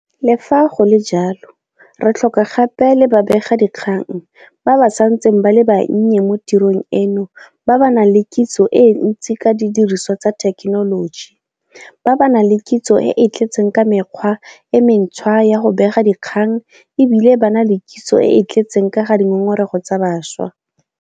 Le fa go le jalo, re tlhoka gape le babegadikgang ba ba santseng ba le bannye mo tirong eno ba ba nang le kitso e ntsi ka didirisiwa tsa thekenoloji, ba ba nang le kitso e e tletseng ka mekgwa e mentšhwa ya go bega dikgang e bile ba na le kitso e e tletseng ka ga dingongorego tsa bašwa.